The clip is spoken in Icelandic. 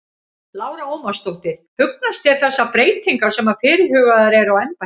Lára Ómarsdóttir: Hugnast þér þessar breytingar sem að fyrirhugaðar eru á embættinu?